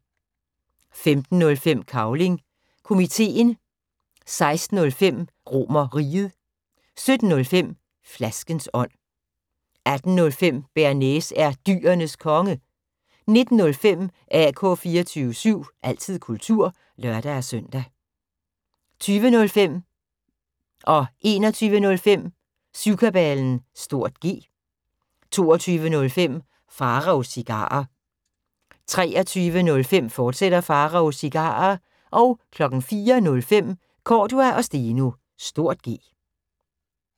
15:05: Cavling Komiteen 16:05: RomerRiget 17:05: Flaskens ånd 18:05: Bearnaise er Dyrenes Konge 19:05: AK 24syv – altid kultur (lør-søn) 20:05: Syvkabalen (G) 21:05: Syvkabalen (G) 22:05: Pharaos Cigarer 23:05: Pharaos Cigarer, fortsat 04:05: Cordua & Steno (G)